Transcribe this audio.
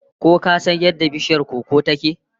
Ko ka san yadda bishiyar koko ta ke?